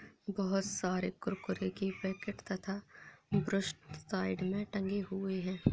बहोत सारे कुरकुरे की पैकेट तथा साइड मे टंगे हुए है।